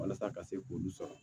Walasa ka se k'olu sɔrɔ